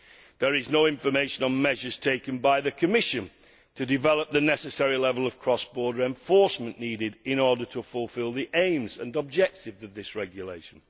There is no information on measures taken by the Commission to develop the necessary level of cross border enforcement needed in order to fulfil the aims and objectives of this regulation.